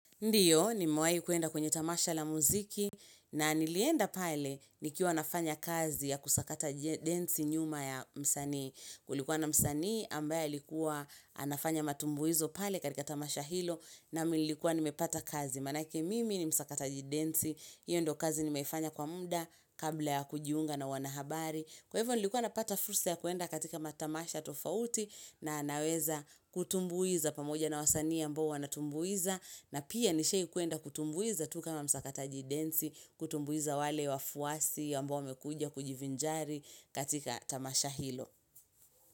Ndiyo nimewai kuenda kwenye tamasha la muziki na nilienda pale nikiwa nafanya kazi ya kusakata jidensi nyuma ya msani Kulikuwa na msani ambaya ilikuwa nafanya matumbuizo pale karika tamasha hilo na milikuwa nimepata kazi Manake mimi ni msakata densi, hiyo ndo kazi nimefanya kwa muda kabla ya kujiunga na wanahabari Kwa hivyo nilikuwa napata fursa ya kuenda katika matamasha tofauti na anaweza kutumbuiza pamoja na wasani ya ambao wanatumbuiza na pia nishe kuenda kutumbuiza tuka mamsaka tajidensi, kutumbuiza wale wafuasi ya ambao wamekuja kujivinjari katika tamasha hilo.